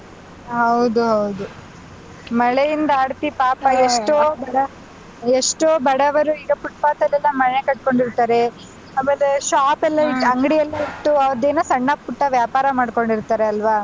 ಹೌದು ಹೌದು ಮಳೆಯಿಂದಾಡತಿ ಪಾಪ ಎಷ್ಟೋ ಬಡ ಎಷ್ಟೋ ಬಡವರು ಈಗ footpath ಲೆಲ್ಲಾ ಮನೆ ಕಟ್ಟಕೋಂಡಿರ್ತಾರೆ ಆಮೇಲೆ shop ಎಲ್ಲ ಅಂಗ್ಡಿ ಎಲ್ಲ ಇಟ್ಟು ಅದೂನೂ ಸಣ್ಣ ಪುಟ್ಟ ವ್ಯಾಪಾರ ಮಾಡ್ಕೊಂಡಿರ್ತಾರೆ ಅಲ್ವಾ.